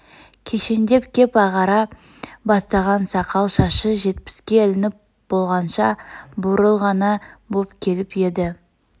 кешеңдеп кеп ағара бастаған сақал-шашы жетпске ілініп болғанша бурыл ғана боп келіп еді